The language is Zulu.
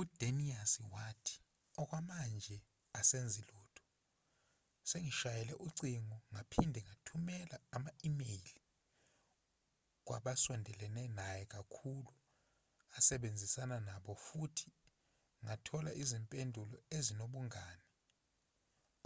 udanius wathi okwamanje asenzi lutho sengishayele ucingo ngaphinde ngathumela ama-imeyile kwabasondelene naye kakhulu asebenzisana nabo futhi ngathola izimpendulo ezinobungane